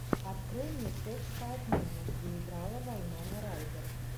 открой мне секс по обмену где играла вайнона райдер